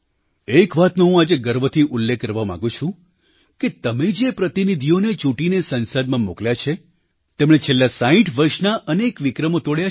એક વાતનો હું આજે ગર્વથી ઉલ્લેખ કરવા માગું છું કે તમે જે પ્રતિનિધિઓને ચૂંટીને સંસદમાં મોકલ્યા છે તેમણે છેલ્લાં 60 વર્ષના અનેક વિક્રમો તોડ્યા છે